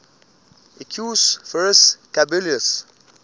equus ferus caballus